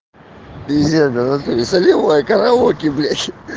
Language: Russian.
пиздец бля в натуре солевая караоке блять